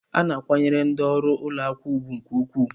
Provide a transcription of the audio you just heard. A na-akwanyere ndị ọrụ ụlọ akụ ùgwù nke ukwuu.